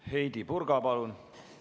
Heidy Purga, palun!